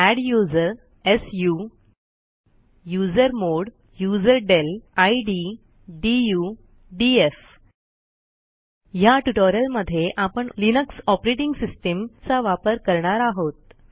adduser su user mod user del id D U D F ह्या ट्युटोरियलमध्ये आपण लिनक्स ऑपरेटिंग सिस्टीम चा वापर करणार आहोत